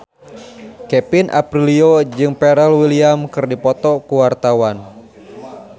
Kevin Aprilio jeung Pharrell Williams keur dipoto ku wartawan